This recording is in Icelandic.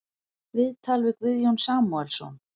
Viðtal við Guðjón Samúelsson